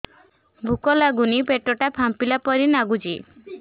ଭୁକ ଲାଗୁନି ପେଟ ଟା ଫାମ୍ପିଲା ପରି ନାଗୁଚି